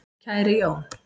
Kæri Jón